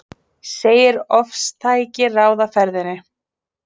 Segir ofstæki ráða ferðinni